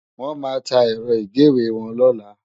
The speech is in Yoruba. Wòn má tá èrò igéwé wòn lòlá